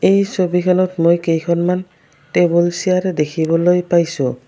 এই ছবিখনত মই কেইখনমান টেবুল চেয়াৰ দেখিবলৈ পাইছোঁ।